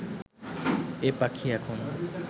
এ পাখি এখন